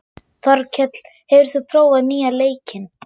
Þorkell, hefur þú prófað nýja leikinn?